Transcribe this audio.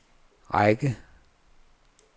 række